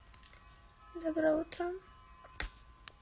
доброе утро